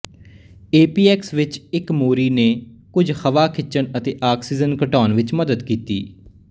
apex ਵਿੱਚ ਇੱਕ ਮੋਰੀ ਨੇ ਕੁਝ ਹਵਾ ਖਿੱਚਣ ਅਤੇ ਆਕਸੀਕਰਨ ਘਟਾਉਣ ਵਿੱਚ ਮਦਦ ਕੀਤੀ